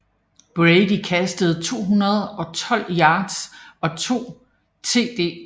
Brady kastede for 212 yards og 2 TDs